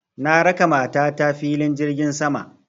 Na raka mata ta filin jirgin sama